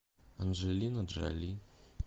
анджелина джоли